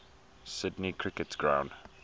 sydney cricket ground